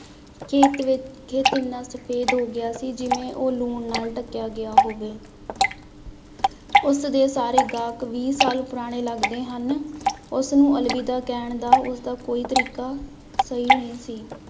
ਖੇਤ ਵਿ ਖੇਤ ਇੰਨਾ ਸਫ਼ੇਦ ਹੋ ਗਿਆ ਸੀ ਜਿਵੇਂ ਉਹ ਲੂਣ ਨਾਲ ਢਕਿਆ ਗਿਆ ਹੋਵੇ ਉਸਦੇ ਸਾਰੇ ਗਾਹਕ ਵੀਹ ਸਾਲ ਪੁਰਾਣੇ ਲੱਗਦੇ ਹਨ, ਉਸਨੂੰ ਅਲਵਿਦਾ ਕਹਿਣ ਦਾ ਉਸਦਾ ਕੋਈ ਤਰੀਕਾ ਸਹੀ ਨਹੀਂ ਸੀ।